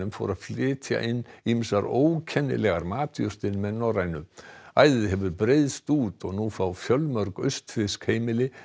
fór að flytja inn ýmsar matjurtir með Norrænu æðið hefur breiðst út og nú fá fjölmörg austfirsk heimili